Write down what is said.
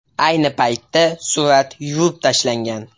Ayni paytda surat yuvib tashlangan.